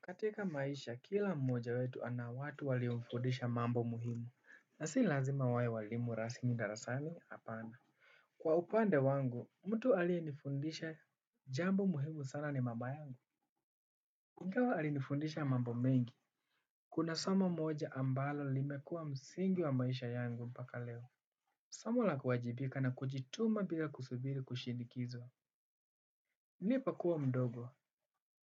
Katika maisha kila mmoja wetu anawatu waliumfundisha mambo muhimu na si lazima wae walimu rasmida rasani apana. Kwa upande wangu, mtu alienifundisha jambo muhimu sana ni mamayangu. Ingawa alinifundisha mambo mengi. Kuna somo moja ambalo limekuwa msingi wa maisha yangu mpaka leo. Samo la kuwajibika na kujituma bila kusubiri kushindikizwa. Nilipokuwa mdogo,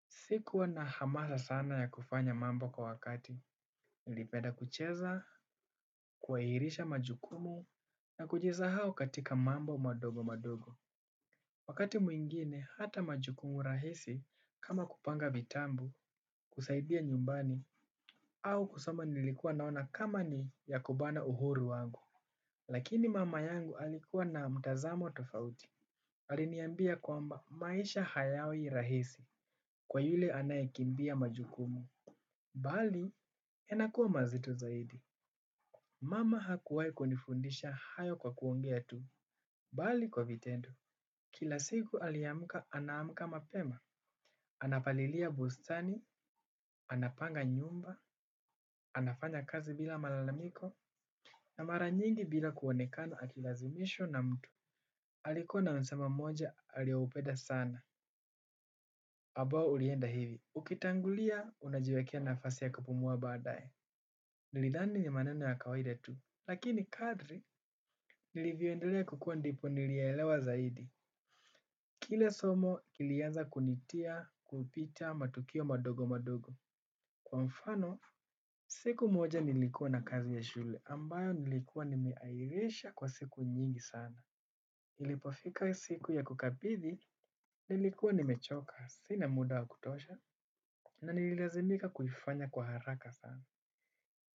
sikuwa na hamasa sana ya kufanya mambo kwa wakati. Nilipeda kucheza, kuairisha majukumu na kujisa hau katika mambo madogo madogo. Wakati mwingine hata majukumu rahisi kama kupanga vitabu, kusaidia nyumbani au kusoma nilikuwa naona kama ni yakubana uhuru wangu. Lakini mama yangu alikuwa na mtazamo tofauti. Aliniambia kwamba maisha hayawi rahisi kwa yule anayikimbia majukumu. Baadhi yanakuwa mazito zaidi. Mama hakuwai kunifundisha hayo kwa kuongea tu. Bali kwa vitendo. Kila siku aliamka, anaamka mapema. Anapalilia bustani, anapanga nyumba, anafanya kazi bila malalamiko, na mara nyingi bila kuonekano akilazimishwa na mtu. Alikwa na msemo moja, aliaupeda sana. Ambao ulienda hivi. Ukitangulia, unajiwekia nafasi ya kupumua badaye. Nilidhani ni maneno ya kawaida tu. Lakini kadri nilivyoendelea kukua ndipo nilielewa zaidi. Kila somo kilianza kunitia kupita matukio madogo madogo. Kwa mfano, siku moja nilikuwa na kazi ya shule ambayo nilikuwa nimeairisha kwa siku nyingi sana. Nilipofika hio siku ya kukabidhi nilikuwa nimechoka sina muda wa kutosha na nililazimika kuifanya kwa haraka sana.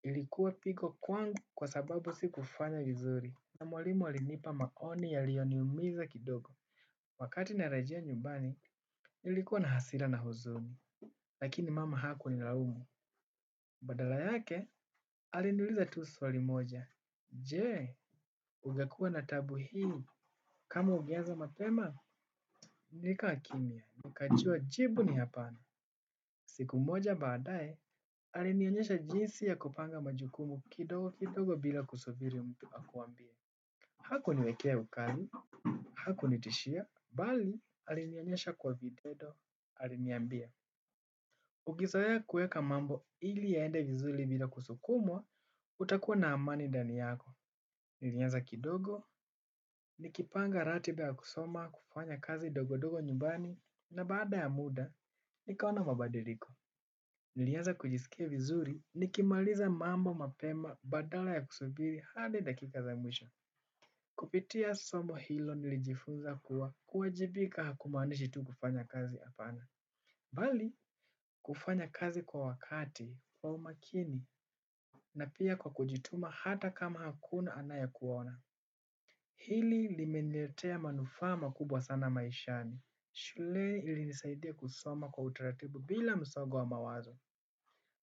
Ilikuwa pigo kwangu kwa sababu si kufanya vizuri na mwalimu alinipa maoni ya liyoniumiza kidogo. Wakati na rajia nyumbani ilikuwa na hasira na huzuni lakini mama hakunilaumu. Badala yake alinuliza tu swali moja. Jee, ungekuwa na tabu hii kama ungeanza mapema nilikaa kimya nikajua jibu ni hapana. Siku moja baadae, alinionyesha jinsi ya kupanga majukumu kidogo kidogo bila kusubiri mtu. Haku niwekea ukali, haku nitishia, bali alinionyesha kwa vitendo, aliniambia. Ukizoea mambo ili yaende vizuri bila kusukumwa na utakuwa na amani ndani yako. Nilinyamaza kidogo, nikipanga ratiba ya kusoma, kufanya kazi ndogondogo nyumbani, na baada ya muda, nikaona mabadiliko. Nilianza kujisikia vizuri, nikimaliza mambo mapema badala ya kusubiri hadi dakika za mwisho. Kupitia somo hilo nilijifunza kuwa kuwajibika hakumanishi tu kufanya kazi apana. Bali kufanya kazi kwa wakati kwa umakina na kwa kujituma hata kama hakuna anaye kuona. Hili limenletea manufaa ma kubwa sana maishani. Shuleni ilinisaidia kusoma kwa utaratibu bila msongo wa mawazo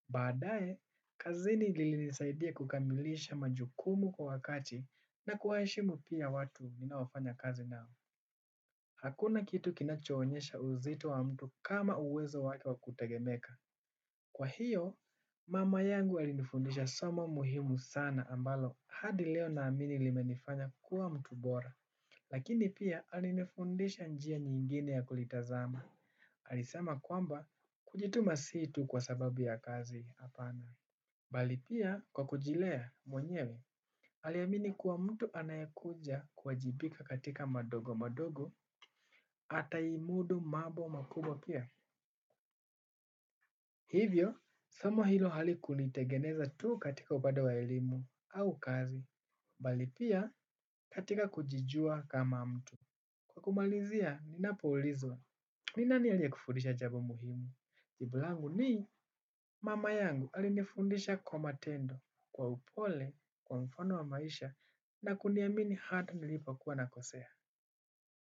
baadae kazin ilinisaidia kukamilisha majukumu kwa wakati na kuwa heshimu pia watu ninaofanya kazi nao. Hakuna kitu kinachoonyesha uzito wa mtu kama uwezo wake wa kutegemeka. Kwa hiyo, mama yangu alinifundisha somo muhimu sana ambalo hadileo na amini limenifanya kuwa mtu bora. Lakini pia alinifundisha njia nyingine ya kulitazama. Alisema kwamba kujituma situ kwa sababu ya kazi apana. Balipia kwa kujilea mwenyewe, aliamini kuwa mtu anayakuja kuwajibika katika madogo madogo ata imudu mambo makubwa pia. Hivyo, somo hilo hali kunitegeneza tu katika upande wa elimu au kazi, balipia katika kujijua kama mtu. Kwa kumalizia, nina poulizwa, nina ni alia kufundisha jambo muhimu? Jibu langu ni mama yangu alinifundisha kwa matendo kwa upole, kwa mfano wa maisha na kuniamini hata nilipo kuwa na kosea.